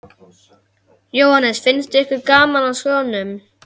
Hverjir skyldu annars kaupa þetta blað í þessu byssulausa landi?